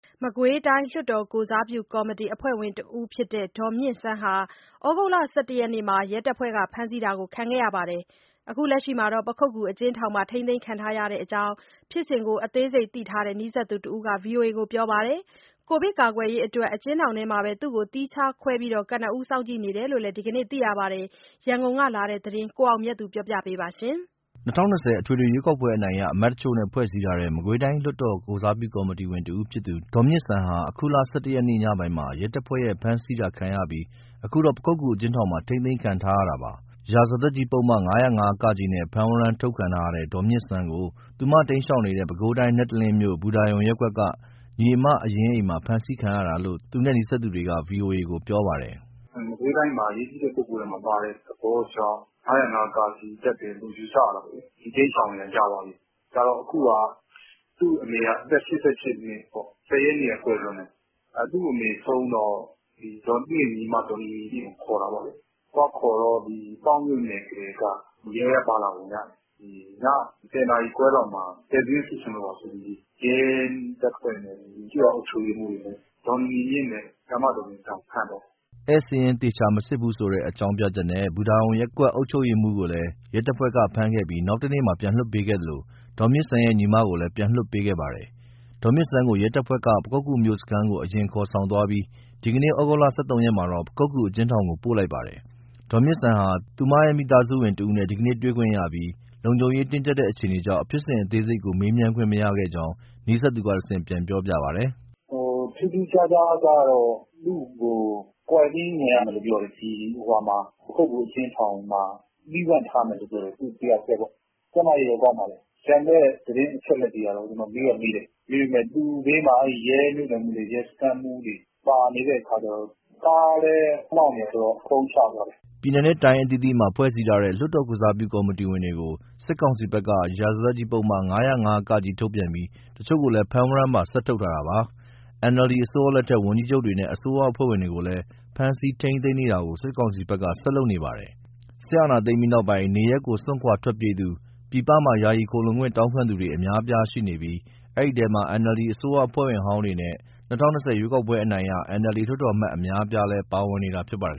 မကွေးတိုင်း လွှတ်တော်ကိုယ်စားပြုကော်မတီ အဖွဲ့ဝင်တဦးဖြစ်တဲ့ ဒေါ်မြင့်စန်းဟာ ဩဂုတ်လ ၁၁ ရက်မှာ ရဲတပ်ဖွဲ့က ဖမ်းဆီးတာခံခဲ့ရပြီး အခု ပခုက္ကူအကျဉ်းထောင်မှာ ထိန်းသိမ်းခံထားရကြောင်း ဖြစ်စဉ်ကို အသေးစိတ်သိထားတဲ့ နီးစပ်သူတဦးက ဗွီအိုအေကို ပြောပါတယ်။ ကိုဗစ်ကာကွယ်ရေးအတွက် အကျဉ်းထောင်ထဲမှာပဲ သူ့ကိုသီးခြားခွဲပြီး ကနဦး စောင့်ကြည့်နေတယ်လို့ ဒီကနေ့သိရပါတယ်။ ရန်ကုန်ကလာတဲ့ ဒီသတင်းကို ကိုအောင်မြတ်သူက ပြောပြပါမယ်။ ၂၀၂၀ အထွေထွေ ရွေးကောက်ပွဲအနိုင်ရ အမတ်တချို့နဲ့ ဖွဲ့စည်းထားတဲ့ မကွေးတိုင်း လွှတ်တော် ကိုယ်စားပြုကော်မတီဝင်တဦးဖြစ်သူ ဒေါ်မြင့်စန်းဟာ အခုလ ၁၁ ရက် ညပိုင်းမှာ ရဲတပ်ဖွဲ့ရဲ့ ဖမ်းဆီးတာခံရပြီး အခုတော့ ပခုက္ကူအကျဉ်းထောင်မှာ ထိန်းသိမ်းခံထားရတာပါ။ ရာဇသတ်ကြီးပုဒ်မ ၅၀၅ ( က) နဲ့ ဖမ်းဝရမ်းထုတ်ခံထားရတဲ့ ဒေါ်မြင့်စန်းကို သူတိမ်းရှောင်နေတဲ့ ပဲခူးတိုင်း၊ နတ်တလင်းမြို့၊ ဘူတာရုံရပ်ကွက်က ညီအမအရင်းအိမ်မှာ ဖမ်းဆီးခံခဲ့ရတာလို့ သူနဲ့နီးစပ်သူက ဗွီအိုအေကို ပြောပါတယ်။ “မကွေးတိုင်းထဲမှာ အရေးကြီးတဲ့ ပုဂ္ဂိုလ်ထဲမှာပါတဲ့သဘောကြောင့် ၅၀၅ ( က) တပ်တယ်လို့ ယူဆရတယ်ပေါ့လေ။ သူတိမ်းရှောင်နေတာ ကြာပါပြီ။ ကြာတော့ အခုဟာက သူ့အမေက အသက် ၈၈ နှစ်ပေါ့။ ၁၀ ရက်နေ့က ကွယ်လွန်တယ်၊ သူ့အမေဆုံးတော့ သူ့ရဲ့ညီမ ဒေါ်နီနီမြင့်ကို ခေါ်တာပေါ့လေ။ သွားခေါ်တော့ ပေါက်မြို့နယ်ကတည်းက ရဲက ပါလာပုံရတယ်။ ည ၁၀ နာရီခွဲလောက်မှာ ဧည့်စာရင်း စစ်ချင်လို့ပါဆိုပြီး ရဲတပ်ဖွဲ့နဲ့ ကျေးရွာအုပ်ချုပ်ရေးမှူးရယ် ဒေါ်နီနီမြင့်နဲ့ ဆရာမဒေါ်မြင့်စန်းကို ဖမ်းသွားတာ။” ဧည့်စာရင်းသေချာမစစ်ဘူးဆိုတဲ့ အကြောင်းပြချက်နဲ့ ဘူတာရုံရပ်ကွက် အုပ်ချုပ်ရေးမှူးကိုလည်း ရဲတပ်ဖွဲ့ ဖမ်းခဲ့ပြီး နောက်တနေ့မှာ ပြန်လွှတ်ပေးခဲ့သလို ဒေါ်မြင့်စန်းရဲ့ ညီမကိုလည်း ပြန်လွှတ်ပေးခဲ့ပါတယ်။ ဒေါ်မြင့်စန်းကို ရဲတပ်ဖွဲ့က ပခုက္ကူမြို့မစခန်းကို အရင်ခေါ်ဆောင်သွားပြီး ဒီနေ့ ဩဂုတ်လ ၁၃ ရက်မှာတော့ ပခုက္ကူအကျဉ်းထောင်ကို ပို့လိုက်ပါတယ်။ ဒေါ်မြင့်စန်းဟာ သူရဲ့မိသားစုဝင်တဦးနဲ့ ဒီကနေ့ တွေ့ခွင့်ရခဲ့ပြီး လုံခြုံရေးတင်းကျပ်တဲ့ အခြေအနေကြောင့် ဖြစ်စဉ်အသေးစိတ်ကို မေးမြန်းခွင့်မရခဲ့ကြောင်း နီးစပ်သူက တဆင့် ပြန်ပြောပြပါတယ်။ “ထူးထူးခြားခြားကတော့ သူ့ကို ကွာရန်တင်း ဝင်ရမယ်လို့ပြောတယ်။ ဒီ ပခုက္ကူအကျဉ်းထောင်မှာ သီးသန့်ထားမယ်လို့ ပြောတယ် သူတယောက်တည်းပေါ့။ ကျန်းမာရေးတော့ ကောင်းပါတယ်။ ကျန်တဲ့ သတင်းအချက်အလက်တွေကတော့ ကျနော် မေးတော့မေးတယ် ဒါပေမဲ့ သူ့ဘေးမှာ အဲဒီရဲမြို့နယ်မှူးတွေ၊ စခန်းမှူးတွေ ပါနေတဲ့အခါကျတော့ ကားလည်း မောင်းနေတယ်ဆိုတော့ ဖုန်းချသွားတယ်။” ပြည်နယ်နဲ့တိုင်း အသီးသီးမှာ ဖွဲ့စည်းထားတဲ့ လွှတ်တော်ကိုယ်စားပြု ကော်မတီဝင်တွေကို စစ်ကောင်စီဘက်က ရာဇသတ်ကြီးပုဒ်မ ၅၀၅ (က) ထုတ်ပြန်ပြီး တချို့ကိုလည်း ဖမ်းဝရမ်းပါ ဆက်ထုတ်ထားတာပါ။ NLD အစိုးရလက်ထက်က ဝန်ကြီးချုပ်တွေနဲ့ အစိုးရအဖွဲ့ဝင်တွေကိုလည်း ဖမ်းဆီးထိမ်းသိမ်းနေတာတွေကို စစ်ကောင်စီဘက်က ဆက်လုပ်နေပါတယ်။ စစ်အာဏာသိမ်းပြီးနောက်ပိုင်း နေရပ်ကို စွန့်ခွာထွက်ပြေးသူတွေ၊ ပြည်ပမှာ ယာယီခိုလှုံခွင့်တောင်းခံသူတွေ အများအပြားရှိနေပြီး အဲဒီအထဲမှာ NLD အစိုးရအဖွဲ့ဝင်ဟောင်းတွေနဲ့ ၂၀၂၀ ရွေးကောက်ပွဲအနိုင်ရ NLD လွှတ်တော်အမတ် အများအပြားလည်း ပါဝင်နေတာ ဖြစ်ပါတယ်